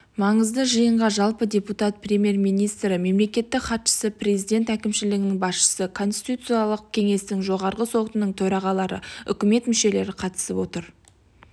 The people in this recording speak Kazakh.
маңызды жиынға жалпы депутат премьер-министрі мемлекеттік хатшысы презилдент әкімшілінің басшысы конституциялық кеңестің жоғарғы сотының төрағалары үкімет мүшелері қатысып отыр